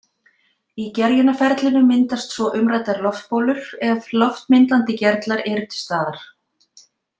Í gerjunarferlinu myndast svo umræddar loftbólur ef loftmyndandi gerlar eru til staðar.